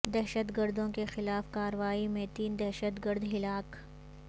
دہشت گردوں کے خلاف کاروائی میں تین دہشت گرد ہلاک